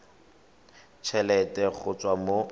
t helete go tswa mo